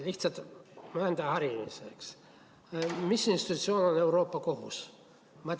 Lihtsalt enda harimiseks: mis institutsioon on Euroopa Kohus?